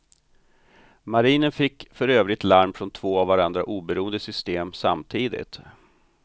Marinen fick för övrigt larm från två av varandra oberoende system samtidigt.